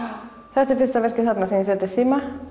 þetta er fyrsta verkið þarna sem ég setti síma